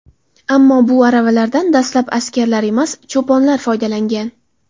Ammo bu aravalardan dastlab askarlar emas, cho‘ponlar foydalangan.